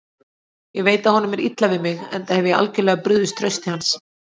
Ég veit að honum er illa við mig, enda hef ég algjörlega brugðist trausti hans.